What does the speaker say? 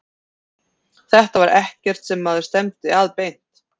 Þetta var ekkert sem maður stefndi að beint.